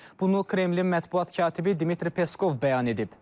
Bunu Kremlin mətbuat katibi Dmitri Peskov bəyan edib.